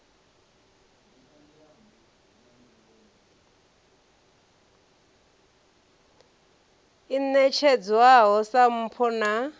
i ṋetshedzwaho sa mpho na